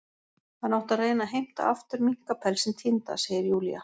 Hann átti að reyna að heimta aftur minkapelsinn týnda, segir Júlía.